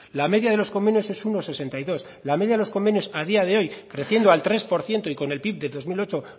la media de los convenios es uno coma sesenta y dos la media de los convenios a día de hoy creciendo al tres por ciento y con el pib del dos mil ocho